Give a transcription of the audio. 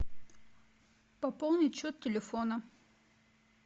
пополнить счет телефона